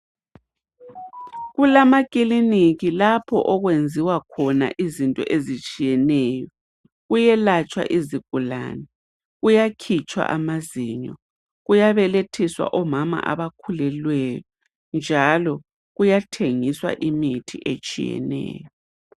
Kulamakiliniki lapho okwenziwa khona izinto ezitshiyeneyo. Kuyelatshwa izigulane, kuyakhutshwa amazinyo, kuyabelethiswa omama abakhulelweyo njalo kuyathengiswa imithi etshiyeneyo.